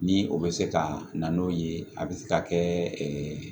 Ni o bɛ se ka na n'o ye a bɛ se ka kɛ